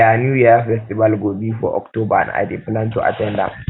dia new yam festival go be for october and i dey plan to at ten d am